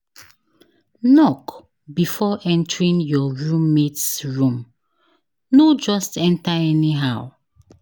Knock before entering your roommate’s room; no just enter anyhow.